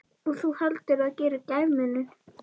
Og þú heldur það geri gæfumuninn?